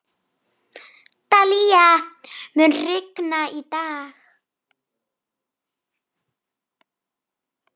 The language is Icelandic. Dalía, mun rigna í dag?